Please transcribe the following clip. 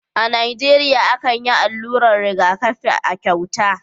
A Nijeriya akan yi allurar rigakafi a cauta